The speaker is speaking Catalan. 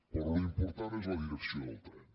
però l’important és la direcció del tren